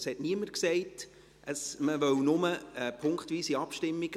Es hat niemand gesagt, man wolle nur bei einer Motion eine punktweise Abstimmung.